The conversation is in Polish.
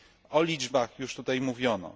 O liczbach już tutaj mówiono.